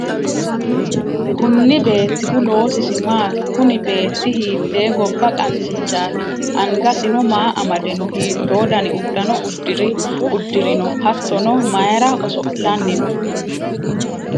kunni beettihu loosisi maati? kuni beetti hiittee gobba qansichaati? angasino maa amade no? hiitto dani uddano uddirino hattono mayira oso'lanni no?